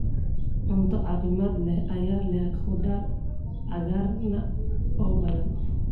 Cunto caafimaad leh ayaa leh khudaar cagaaran oo badan.